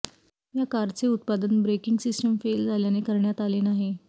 या कारचे उत्पादन ब्रेकिंग सिस्टीम फेल झाल्याने करण्यात आले नाही